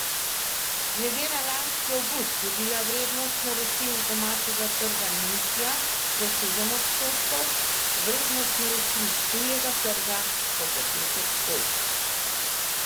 Glede na lanski avgust je bila vrednost naročil z domačega trga nižja za sedem odstotkov, vrednost naročil s tujega trga pa za pet odstotkov.